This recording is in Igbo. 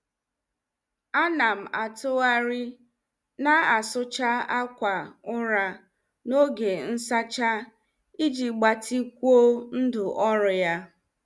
Anam atụgharị na asucha ákwà ụra n'oge nsacha iji gbatikwuo ndụ ọrụ ya.